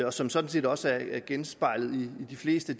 og som sådan set også er genspejlet i de fleste